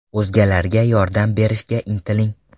O‘zgalarga yordam berishga intiling.